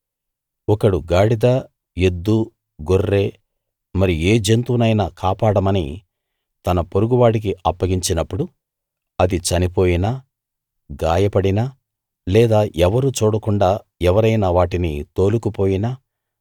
ఒకడు గాడిద ఎద్దు గొర్రె మరి ఏ జంతువునైనా కాపాడమని తన పొరుగు వాడికి అప్పగించినప్పుడు అది చనిపోయినా గాయపడినా లేదా ఎవరూ చూడకుండా ఎవరైనా వాటిని తోలుకు పోయినా